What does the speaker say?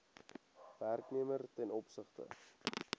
werknemer ten opsigte